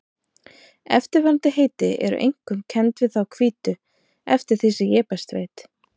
Eftirfarandi heiti eru einkum kennd við þá hvítu eftir því sem ég best veit.